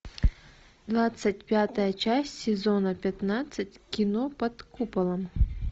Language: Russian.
двадцать пятая часть сезона пятнадцать кино под куполом